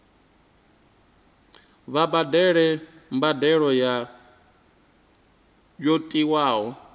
vha badele mbadelo yo tiwaho